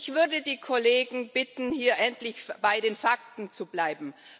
Ich würde die Kollegen bitten, hier endlich bei den Fakten zu bleiben.